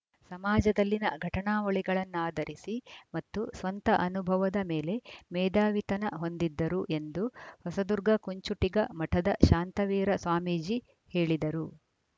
ಸಮಾಜದಲ್ಲಿನ ಘಟನಾವಳಿಗಳನ್ನಾಧರಿಸಿ ಮತ್ತು ಸ್ವಂತ ಅನುಭವದ ಮೇಲೆ ಮೇಧಾವಿತನ ಹೊಂದಿದ್ದರು ಎಂದು ಹೊಸದುರ್ಗ ಕುಂಚುಟಿಗ ಮಠದ ಶಾಂತವೀರ ಸ್ವಾಮೀಜಿ ಹೇಳಿದರು